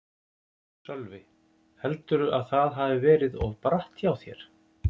Sölvi: Heldurðu að það hafi verið of bratt hjá þér?